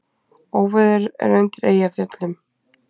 Óveður er undir Eyjafjöllum